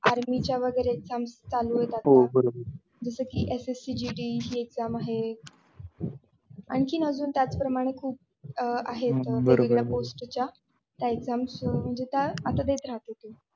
army च्या वगैरे exams चालूये आता हो बरोबर जसा कि SSCGD हि exam आहे. आणखीन आजून त्याचप्रमाणे खूप अं आहेत वेगवेगळ्या post च्या त्या exams आहेत म्हणजे त्या आता देत राहतो तो.